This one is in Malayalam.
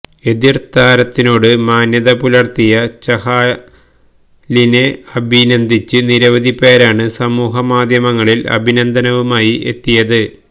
എതിര് താരത്തിനോട് മാന്യത പുലര്ത്തിയ ചഹാലിനെ അഭിനന്ദിച്ച് നിരവധി പേരാണ് സാമൂഹ്യ മാധ്യമങ്ങളില് അഭിനന്ദനവുമായി എത്തിയത്